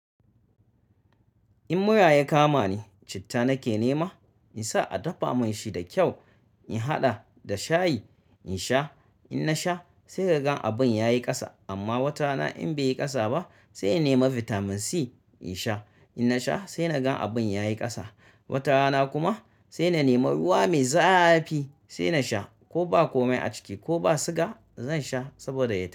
In mura ya kama ni, citta nake nema in sa a dafa mun shi da kyau, in haɗa da shayi in sha. In na sha sai ka gan abin ya yi ƙasa amma watana in bai yi ƙasa ba sai in nema bitamin C in sha. In na sha sai na gan abin ya yi ƙasa. Watarana kuma sai na nema ruwa mai zafi sai na sha. Ko ba komai a ciki ko ba siga zan sha saboda ya tai.